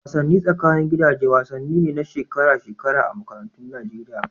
Wasannin tsakanin gidaje wasanni ne na shekara-shekara a makarantun Nageriya.